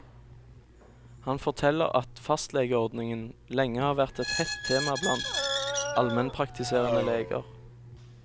Han forteller at fastlegeordningen, lenge har vært et hett tema blant almenpraktiserende leger.